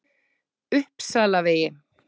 Uppsalavegi